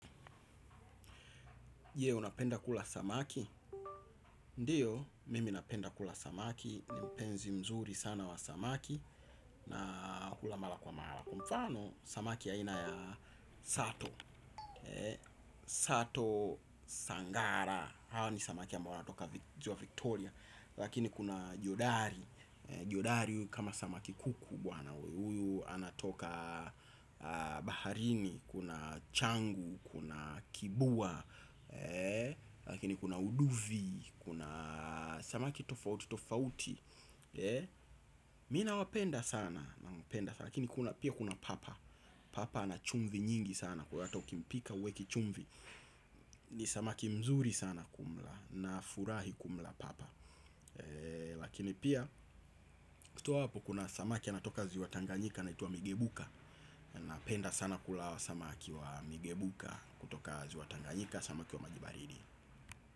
Yeo napenda kula samaki ndiyo mimi napenda kula samaki ni mpenzi mzuri sana wa samaki na hula mara kwa mara kwa mfano samaki ya ina ya sato sato sangara hao ni samaki ambao wanatoka ziwa Victoria lakini kuna jodari jodari kama samaki kuku bwanawe huyu anatoka baharini kuna changu, kuna kibua. Lakini kuna uduvi. Kuna samaki tofauti tofauti Mi nawapenda sana. Lakini kuna pia kuna papa. Papa ana chumvi nyingi sana. Kwa hata ukimpika huweki chumvi. Ni samaki mzuri sana kumla. Nafurahi kumla papa. Lakini pia kutoa hapo. Kuna samaki anatoka ziwa tanganyika anaitwa Migebuka. Napenda sana kula hawa samaki wa Migebuka. Kutoka ziwa tanganyika samaki wa maji baridi.